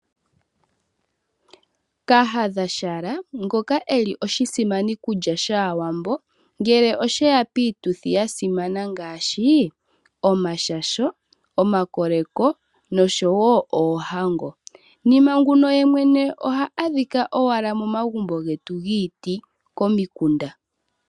Kahadhashala ngoka eli oshisimanikulya shaawambo ngele osheya piituthi yasimana ngaashi omashasho, omakoleko nosho wo oohango. Nima nguno yemwene oha adhika owala momagumbo getu giiti komikunda.